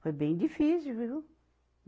Foi bem difícil, viu?